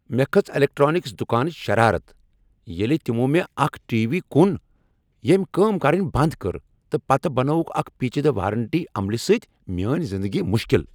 مےٚ کھژ الیکٹرانکس دکانٕچ شرارت ییٚلہ تمو مےٚ اکھ ٹی وی کوٚن ییٚمۍ کٲم کرنۍ بنٛد کٔر تہٕ پتہٕ بنٲوکھ اکہ پیچیدٕ وارنٹی عملہ سۭتۍ میٲنۍ زندگی مشکل۔